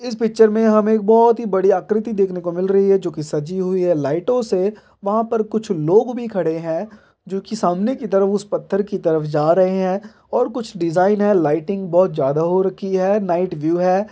इस पिक्चर में हमें बहोत ही बड़ी आकृति देखने को मिल रही हैं जो की सजी हुई हैं लाइटो से वहाँ पे कुछ लोग भी खड़े हैं जो की सामने की तरफ उस पत्थर की तरफ जा रहा हैं और कुछ डिजाईन हैं लाइटिंग बहोत ज्यादा हो रखी हैं और इसमें नाईट व्यू भी हैं।